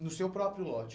No seu próprio lote?